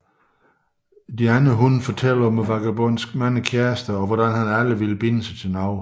De andre hunde fortæller om Vagabondens mange kærester og hvordan han aldrig vil binde sig til nogen